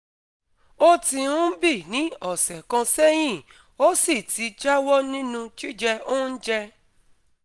Ó ti ń bii ní ọ̀sẹ̀ kan sẹ́yìn, ó sì ti jáwọ́ nínú jíjẹ oúnjẹ